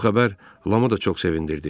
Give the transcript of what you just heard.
Bu xəbər Lamı da çox sevindirdi.